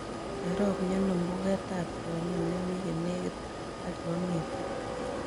Cherop miano mbugetap tiong'ik nemi yenegit ak yuamiiten